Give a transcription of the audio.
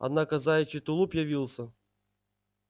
однако заячий тулуп явился